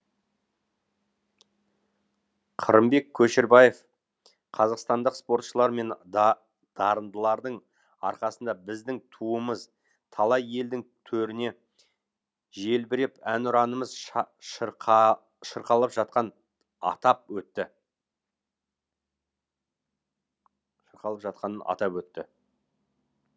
қырымбек көшербаев қазақстандық спортшылар мен дарындардың арқасында біздің туымыз талай елдің төрінде желбіреп әнұранымыз шырқалып жатқанын атап өтті